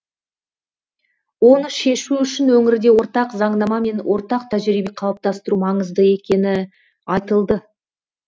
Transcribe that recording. оны шешу үшін өңірде ортақ заңнама мен ортақ тәжірибе қалыптастыру маңызды екені айтылды